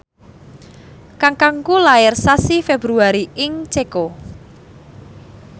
kakangku lair sasi Februari ing Ceko